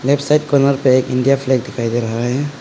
एक side corner पे एक इंडिया फ्लैग दिखाई दे रहा है।